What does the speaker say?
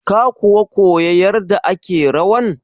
Ka kuwa koya yarda ake rawan?